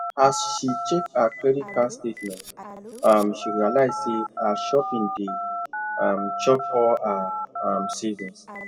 as she check her credit card statement um she realize say her shopping dey um chop all her um savings